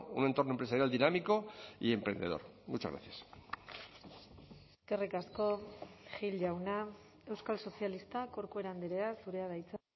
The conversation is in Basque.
un entorno empresarial dinámico y emprendedor muchas gracias eskerrik asko gil jauna euskal sozialistak corcuera andrea zurea da hitza